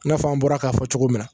I n'a fɔ an bɔra k'a fɔ cogo min na